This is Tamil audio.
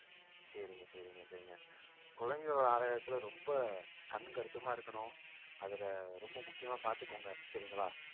சரிங்க சரிங்க சரிங்க குழந்தைகளோட ஆரோக்கியத்துல ரொம்ப கண்ணும் கருத்துமா இருக்கணும் அதுல ரொம்ப முக்கியமா பாத்துக்கோங்க சரிங்களா